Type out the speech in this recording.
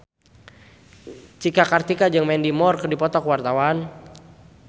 Cika Kartika jeung Mandy Moore keur dipoto ku wartawan